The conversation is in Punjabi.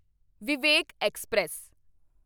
ਵਿਵੇਕ ਐਕਸਪ੍ਰੈਸ